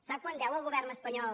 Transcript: sap quant deu el govern espanyol